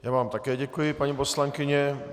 Já vám také děkuji, paní poslankyně.